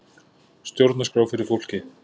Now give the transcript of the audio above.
Stjórnarskrá fyrir fólkið